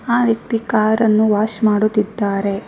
ಆ ವ್ಯಕ್ತಿ ಕಾರನ್ನು ವಾಶ್ ಮಾಡುತಿದ್ದಾರೆ.